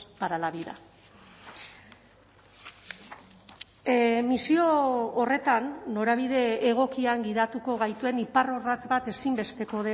para la vida misio horretan norabide egokian gidatuko gaituen iparrorratz bat ezinbesteko